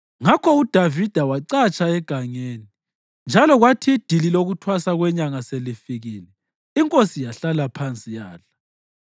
Ngakho uDavida wacatsha egangeni, njalo kwathi idili lokuThwasa kweNyanga selifikile, inkosi yahlala phansi yadla.